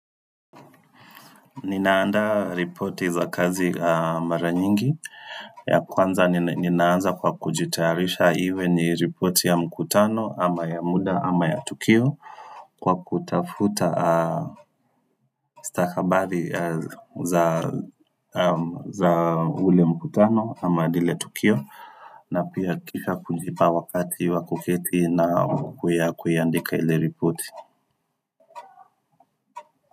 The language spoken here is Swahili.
Ninaandaa ripoti za kazi mara nyingi ya kwanza ninaanza kwa kujitarisha iwe ni ripoti ya mkutano ama ya muda ama ya tukio kwa kutafuta stakabadhi za ule mkutano ama lile tukio na pia kisha kujipa wakati wa kuketi na kuiandika ile ripoti.